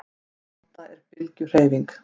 Alda er bylgjuhreyfing.